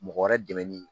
Mɔgɔ wɛrɛ dɛmɛni